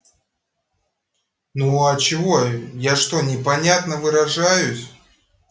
ну а чего я что непонятно выражаюсь